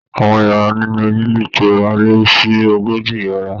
Àwọn yàrá nínú ilé ìtura á lé sí ogójì yàrá